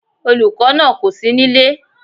Olùkó náà kòsí nílé